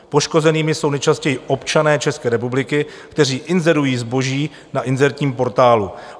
Poškozenými jsou nejčastěji občané České republiky, kteří inzerují zboží na inzertním portálu.